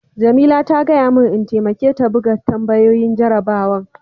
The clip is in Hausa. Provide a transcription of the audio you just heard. Jamila ta gaya mun n'taimake ta buga tambayoyin jarabawan.